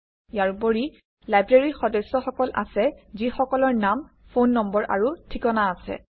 ইয়াৰ উপৰি লাইব্ৰেৰীৰ সদস্যসকল আছে যিসকলৰ নাম ফোন নম্বৰ আৰু ঠিকনা আছে